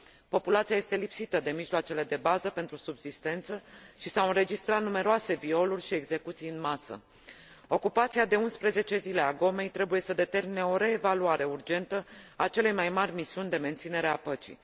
Populația este lipsită de mijloacele de bază pentru subzistență și s au înregistrat numeroase violuri și execuții în masă. Ocupația de 11 zile a Gomei trebuie să determine o reevaluare urgentă a celei mai mari misiuni de menținere a păcii.